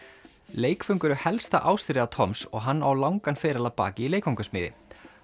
leikföng eru helsta ástríða og hann á langan feril að baki í leikfangasmíði